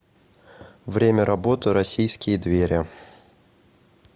время работы российские двери